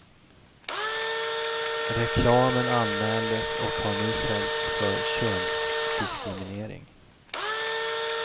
Reklamen anmäldes och har nu fällts för könsdiskriminering.